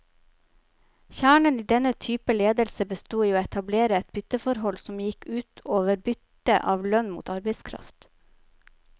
Kjernen i denne typen ledelse bestod i å etablere et bytteforhold, som gikk ut over byttet av lønn mot arbeidskraft.